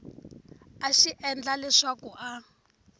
a xi endla leswaku a